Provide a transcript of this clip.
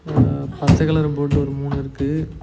அ பச்ச கலர் போட்டு ஒரு மூணு இருக்கு.